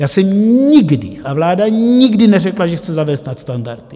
Já jsem nikdy - a vláda nikdy neřekla, že chce zavést nadstandardy.